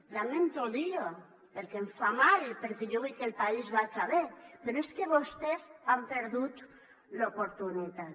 lamento dir ho perquè em fa mal perquè jo vull que el país vaja bé però és que vostès han perdut l’oportunitat